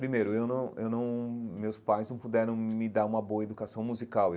Primeiro, eu não eu não meus pais não puderam me dar uma boa educação musical.